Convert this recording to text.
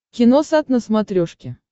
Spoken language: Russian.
киносат на смотрешке